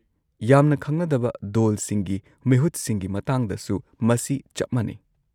-ꯌꯥꯝꯅ ꯈꯪꯅꯗꯕ ꯗꯣꯜꯁꯤꯡꯒꯤ ꯃꯤꯍꯨꯠꯁꯤꯡꯒꯤ ꯃꯇꯥꯡꯗꯁꯨ ꯃꯁꯤ ꯆꯞ ꯃꯥꯟꯅꯩ ꯫